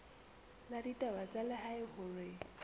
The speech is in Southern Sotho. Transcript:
la ditaba tsa lehae hore